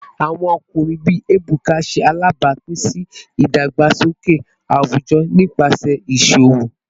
Awọn ọkunrin bii Ebuka ṣe alabapin si idagbasoke awujọ nipasẹ iṣowo